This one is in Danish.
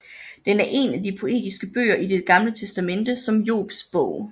Den er en af de poetiske bøger i det Gamle Testamente som Jobs Bog